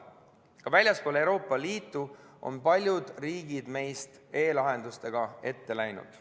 Ka väljaspool Euroopa Liitu on paljud riigid meist e-lahendustega ette läinud.